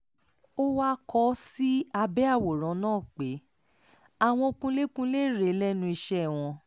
ó wáá kọ ọ́ sí abẹ́ àwòrán náà pé àwọn kunlékunlé rèé lẹ́nu iṣẹ́ wọn